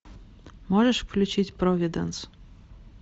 можешь включить провиденс